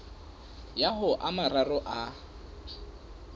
ya ho a mararo a